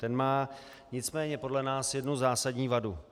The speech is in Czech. Ten má nicméně podle nás jednu zásadní vadu.